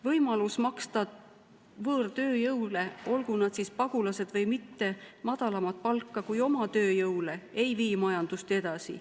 Võimalus maksta võõrtööjõule, olgu nad siis pagulased või mitte, madalamat palka kui oma tööjõule ei vii majandust edasi.